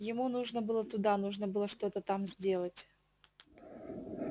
ему нужно было туда нужно было что-то там сделать